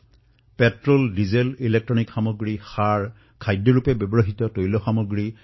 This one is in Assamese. পেট্ৰলেই হওক বা ডিজেলেই হওক বৈদ্যুতিক সামগ্ৰী আমদানিয়েই হওক বা ইউৰিয়াৰ আমদানিয়েই হওক অথবা খোৱা তেলেই হওক